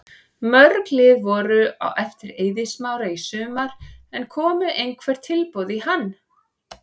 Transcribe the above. Mörg lið voru á eftir Eiði Smára í sumar en komu einhver tilboð í hann?